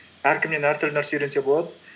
әркімнен әртүрлі нәрсе үйренсе болады